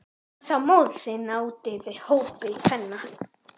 Hann sá móður sína úti við í hópi kvenna.